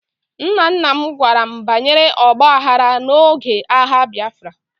Nna nna m gwara m banyere ọgba aghara n'oge agha Biafra